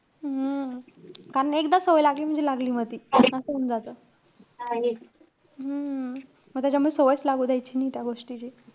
हम्म कारण एकदा सवय लागली म्हणजे लागली म ती. असं होऊन जातं. हम्म म त्याच्यामुळे सवयच लागू द्यायची नाहीये त्या गोष्टीची.